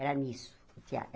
Era nisso, tear.